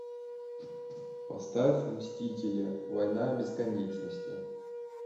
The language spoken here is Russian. поставь мстители война бесконечности